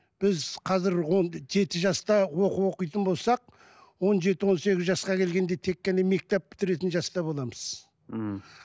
біз қазір онды жеті жаста оқу оқитын болсақ он жеті он сегіз жасқа келгенде тек қана мектеп бітіретін жаста боламыз мхм